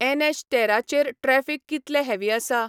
N H तेरा चेर traffic कितलें हॅवी आसा?